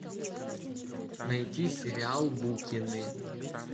найти сериал букины